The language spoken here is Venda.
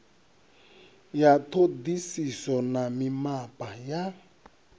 ya ṱhoḓisiso na mimapa ya